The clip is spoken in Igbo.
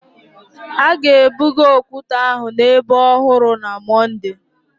The stones will be transfered to the new site on Monday